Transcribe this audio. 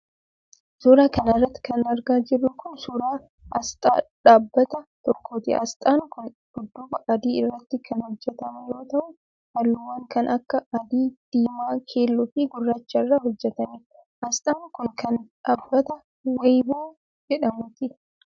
Suura kana irratti kan argaa jirru kun ,suura asxaa dhaababata tokkooti. Asxaan kun dudduuba adii irratti kan hojjatame yoo ta'u, haalluuwwan kan akka :adii ,diimaa, keelloo fi gurraacha irraa hojjatame. Asxaan kun, kan dhaabbbata weeyiboo jedhamuuti.